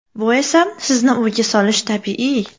Bu esa sizni o‘yga solishi tabiiy.